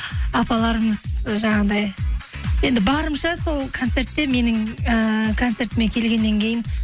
апаларымыз ы жаңағындай енді барымша сол концертте менің ііі концертіме келгеннен кейін